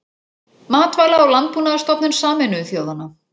Matvæla- og landbúnaðarstofnun Sameinuðu þjóðanna.